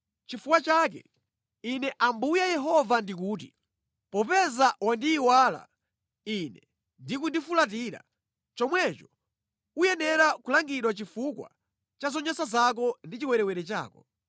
“Chifukwa chake, Ine Ambuye Yehova ndikuti: Popeza wandiyiwala Ine ndi kundifulatira, chomwecho uyenera kulangidwa chifukwa cha zonyansa zako ndi chiwerewere chako.”